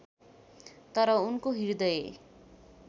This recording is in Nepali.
तर उनको हृदय